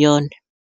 yone.